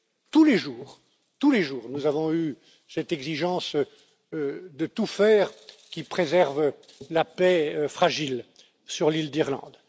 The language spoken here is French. Tous les jours, tous les jours, nous avons eu cette exigence de tout faire pour préserver la paix fragile sur l'île d'Irlande.